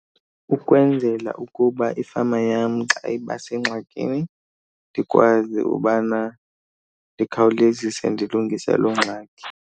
Ukwenzela ukuba ifama yam xa iba sengxakini ndikwazi ubana ndikhawulezise ndilungise loo ngxaki.